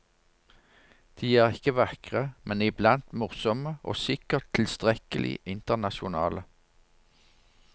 De er ikke vakre, men iblant morsomme og sikkert tilstrekkelig internasjonale.